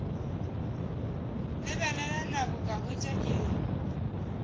lebelela nako ka hwetša iri